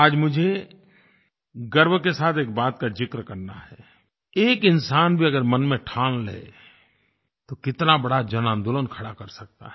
आज मुझे गर्व के साथ एक बात का ज़िक्र करना है एक इंसान भी अगर मन में ठान ले तो कितना बड़ा जन आन्दोलन खड़ा कर सकता है